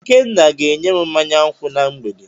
Ikenna ga enyem mmanya nkwu na mgbede.